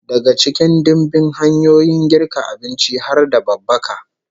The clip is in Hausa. Daga cikin dimbin hanyoyin girka abinci har da babbaka